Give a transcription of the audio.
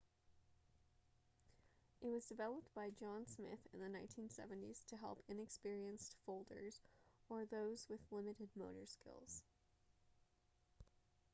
it was developed by john smith in the 1970s to help inexperienced folders or those with limited motor skills